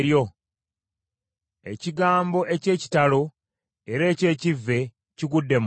“Ekigambo eky’ekitalo era eky’ekivve kigudde mu nsi: